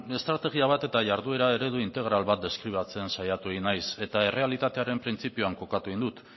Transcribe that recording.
estrategia bat eta jarduera eredu integral bat deskribatzen saiatu egin naiz eta errealitatearen printzipioan kokatu dut